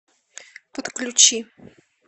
подключи